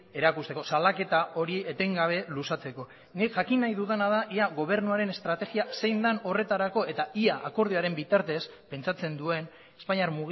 erakusteko salaketa hori etengabe luzatzeko nik jakin nahi dudana da ia gobernuaren estrategia zein den horretarako eta ia akordioaren bitartez pentsatzen duen espainiar